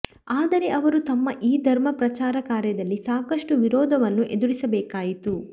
ಆದರೆ ಅವರು ತಮ್ಮ ಈ ಧರ್ಮ ಪ್ರಚಾರಕಾರ್ಯದಲ್ಲಿ ಸಾಕಷ್ಟು ವಿರೋಧವನ್ನು ಎದುರಿಸಬೇಕಾಯಿತು